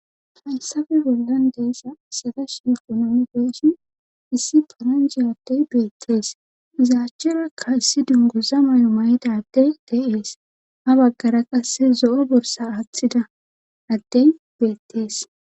hayssafe bollan deessa sadash ekonomi beeshin issi paranji addey beettees izaachcherakka issi dunguza may7o may7daddey de7ees ha baggara qasse zo7o borsa aaththida addey beettees